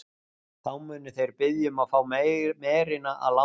Þá munu þeir biðja um að fá merina að láni.